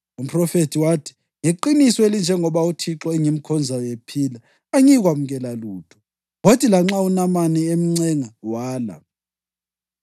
Umphrofethi wathi, “Ngeqiniso elinjengokuba uThixo engimkhonzayo ephila, angiyikwamukela lutho.” Kwathi lanxa uNamani emncenga wala.